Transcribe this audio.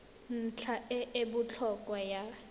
ntlha e e botlhokwa ya